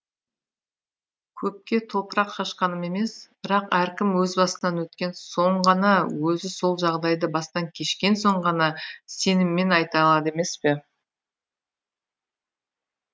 көпке топырақ шашқаным емес бірақ әркім өз басынан өткен соң ғана өзі сол жағдайды бастан кешкен соң ғана сеніммен айта алады емес пе